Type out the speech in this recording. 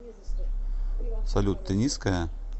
салют ты низкая